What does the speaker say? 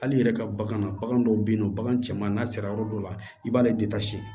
Hali i yɛrɛ ka bagan na bagan dɔw bɛ yen nɔ bagan cɛman n'a sera yɔrɔ dɔ la i b'ale